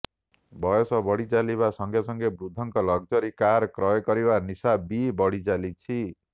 ବୟସ ବଢ଼ିଚାଲିବା ସଂଗେସଂଗେ ବୃଦ୍ଧଙ୍କ ଲକ୍ଜରି କାର କ୍ରୟ କରିବାର ନିଶା ବି ବଢ଼ିଚାଲିଛି